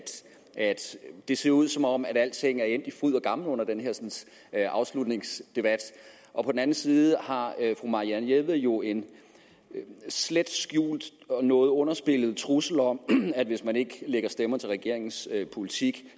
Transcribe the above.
det ser ud som om alting er endt i fryd og gammen under den her afslutningsdebat og på den anden side har fru marianne jelved jo en slet skjult og noget underspillet trussel om at hvis man ikke lægger stemmer til regeringens politik